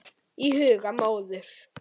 Í huga móður